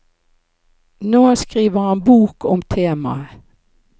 Nå skriver han bok om temaet.